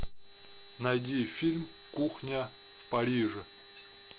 найди фильм кухня в париже